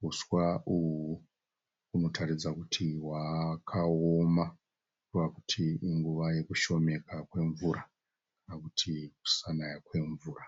Huswa uhu hunotaridza kuti hwakaoma kureva kuti inguva yekushomeka kwemvura kana kuti kusanaya kwemvura.